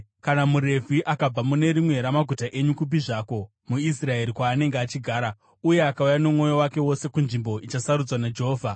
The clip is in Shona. Kana muRevhi akabva mune rimwe ramaguta enyu, kupi zvako muIsraeri kwaanenge achigara, uye akauya nomwoyo wake wose kunzvimbo ichasarudzwa naJehovha,